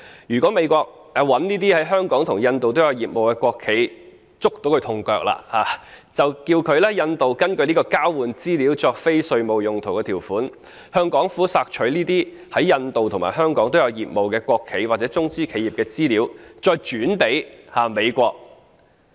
如果美國找到這些在香港及印度也有業務的國企的"痛腳"，大可以叫印度根據這項交換資料作非稅務用途的條款，向香港索取該等在印度及香港均有業務的國企或中資企業的資料，再轉交美國。